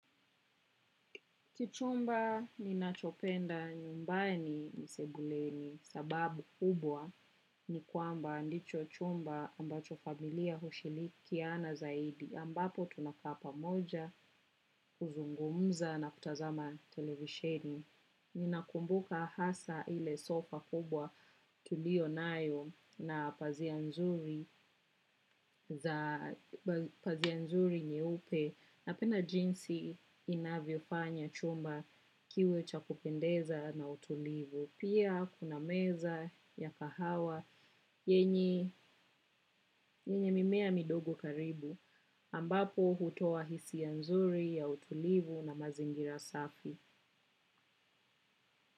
Kichumba ninachopenda nyumbani ni sebuleni sababu kubwa ni kwamba ndicho chumba ambacho familia hushirikiana zaidi ambapo tunakaa pamoja kuzungumza na kutazama televisheni. Ninakumbuka hasa ile sofa kubwa tulio nayo na pazia nzuri nyeupe napenda jinsi inavyo fanya chumba kiwe cha kupendeza na utulivu. Pia kuna meza ya kahawa yenye mimea midogo karibu ambapo hutoa hisia nzuri ya utulivu na mazingira safi.